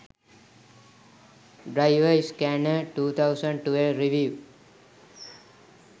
driver scanner 2012 review